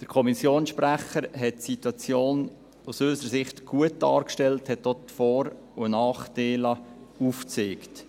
Der Kommissionssprecher hat die Situation aus unserer Sicht gut dargestellt, er hat auch die Vor- und Nachteile aufgezeigt.